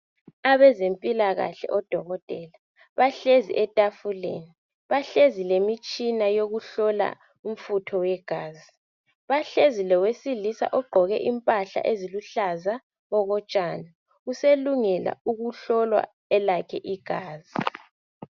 Abezempilakahle odokotela bahlezi etafuleni .Bahlezi lemitshina yokuhlola umfutho wegazi . Bahlezi lowesilisa ogqoke impahla eziluhlaza okotshani .Uselungela ukuhlowa elakhe igazi .